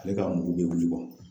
Ale ka mugu bɛ wili